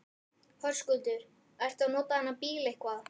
Höskuldur: Ertu að nota þennan bíl eitthvað?